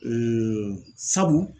sabu